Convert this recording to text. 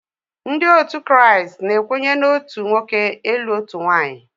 Ndị otu Kraịst na-ekwenye na otu nwoke ilụ otu nwaanyị.